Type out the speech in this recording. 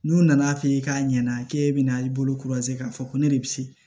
N'u nana f'i ye k'a ɲɛna k'e bɛna i bolo k'a fɔ ko ne de bɛ se